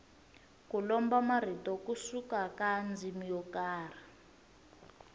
ku lomba marito ku suka ka ndzimi yo karhi